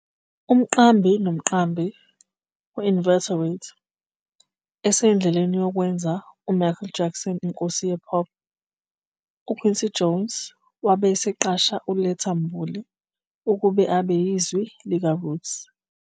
"Umqambi nomqambi we-inveterate, esendleleni yokwenza uMichael Jackson inkosi ye-pop, uQuincy Jones wabe eseqasha uLetta Mbulu ukuba abe yizwi likaRoots.